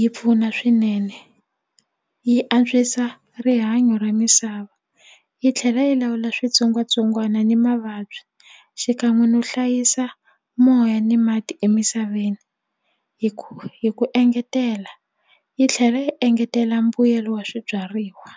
yi pfuna swinene yi antswisa rihanyo ra misava yi tlhela yi lawula switsongwatsongwana ni mavabyi xikan'we no hlayisa moya ni mati emisaveni hi ku hi ku engetela yi tlhela yi engetela mbuyelo wa swibyariwa.